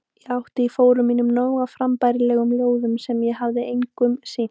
Ég átti í fórum mínum nóg af frambærilegum ljóðum sem ég hafði engum sýnt.